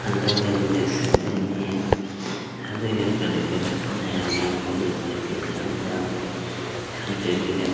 hello guys देख सकते है ये शादी घर का डेकोरेशन है और ये कॉलेज वैकशन यहाँ पे